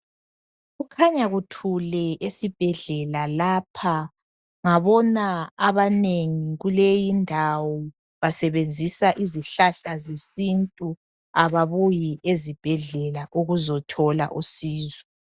Kukhanya kuthule esibhedlela lapha, ngabona abanengi kuleyindawo basebenzisa izihlahla zesintu ababuyi ezibhedlela ukuzothola usizo.